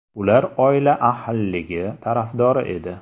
Ular oila ahilligi tarafdori edi.